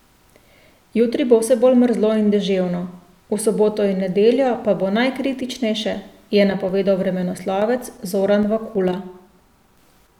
Jutri bo vse bolj mrzlo in deževno, v soboto in nedeljo pa bo najkritičnejše, je napovedal vremenoslovec Zoran Vakula.